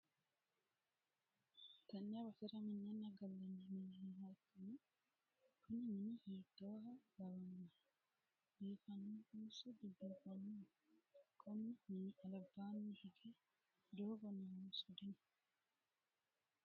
tenne basera minenna gallanni mini nooha ikkanna, kuni mini hiittoha lawannohe? biifannohonso dibiifannoho? konni mini albaanni hige doogo noonso dino?